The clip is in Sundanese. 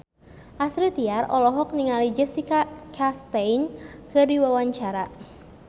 Astrid Tiar olohok ningali Jessica Chastain keur diwawancara